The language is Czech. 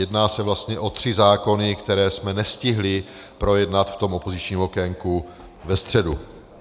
Jedná se vlastně o tři zákony, které jsme nestihli projednat v tom opozičním okénku ve středu.